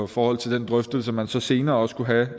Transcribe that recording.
forhold til den drøftelse man så senere også kunne have